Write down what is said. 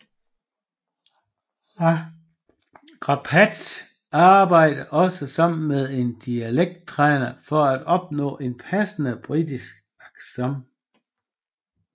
Rapace arbejde også sammen med en dialekt træner for at opnå en passende britisk accent